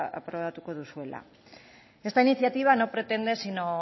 aprobatuko duzuela esta iniciativa no pretende sino